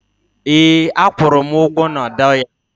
ee, a kwụrụ m ugwo na dollar